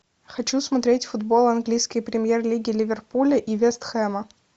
хочу смотреть футбол английской премьер лиги ливерпуля и вест хэма